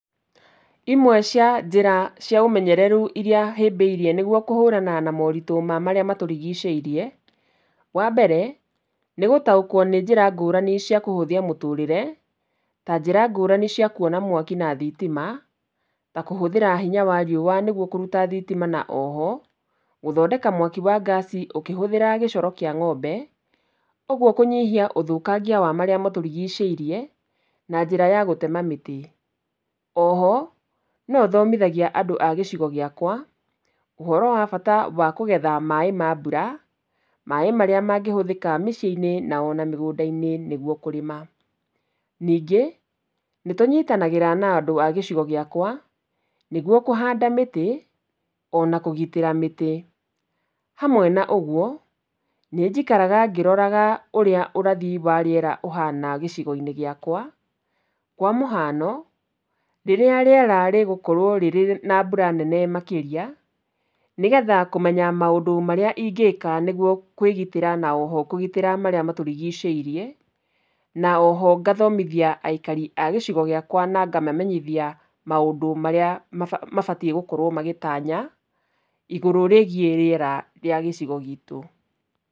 Imwe cia njĩra cia ũmenyereru iria hĩmbĩirie nĩguo kũhũrana na morĩtũ ma marĩa matũrigicĩirie, wa mbere, nĩgũtaũkwo nĩ njĩra ngũrani cia kũhũthia mũtũrĩre, ta njĩra ngũrani cia kwona mwaki na thitima, ta kũhũthĩra hinya wa riũa nĩguo kũruta thitima na o ho, gũthondeka mwaki wa ngaci ũkĩhũthĩra gĩcoro kĩa ng'ombe, ũguo kũnyihia ũthũkangia wa marĩa matũrigicĩirie na njĩra ya gũtema mĩtĩ. O ho no thomithagia andũ a gĩcigo gĩakwa ũhoro wa bata wa kũgetha maaĩ ma mbura, maaĩ marĩa mangĩhũthĩka mĩciĩ-inĩ na ona mĩgũnda-inĩ nĩgwo kũrĩma. Ningĩ nĩtũnyitanagĩra na andũ a gĩcigo gĩakwa nĩguo kũhanda mĩtĩ ona kũgitĩra mĩtĩ. Hamwe na ũguo nĩ njikaraga ngĩroraga ũrĩa ũrathi wa riera ũhana gĩcigo-inĩ gĩakwa, kwa mũhano rĩrĩa rĩera rĩgũkorwo rĩrĩ na mbura nene makĩria, nĩgetha kũmenya maũndũ marĩa ingĩka nĩguo kwĩgitĩra na o ho kũgitĩra marĩa matũrigicĩirie, na o ho ngathomithia aikari a gĩcigo gĩakwa na ngamamenyithia maũndũ marĩa maba, mabatiĩ gũkorwo magĩtanya igũrũ rĩgiĩ rĩera rĩa gĩcigo gitũ.